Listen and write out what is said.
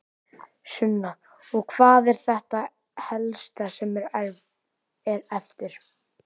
Sunna: Og hvað er þetta helsta sem er eftir?